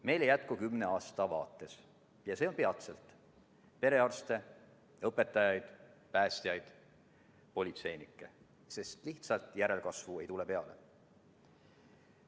Meil ei jätku kümne aasta vaates – ja see on peatselt – perearste, õpetajaid, päästjaid, politseinikke, sest järelkasvu ei tule lihtsalt peale.